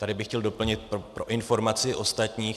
Tady bych chtěl doplnit pro informaci ostatních.